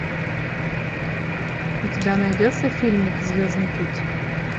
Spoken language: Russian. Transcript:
у тебя найдется фильмик звездный путь